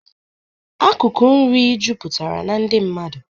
Akụkụ nri juputara na ndị mmadụ